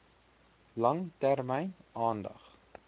lang termyn aandag